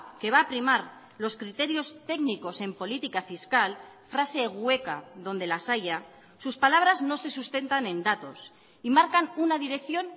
que va a primar los criterios técnicos en política fiscal frase hueca donde las hayas sus palabras no se sustentan en datos y marcan una dirección